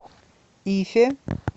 ифе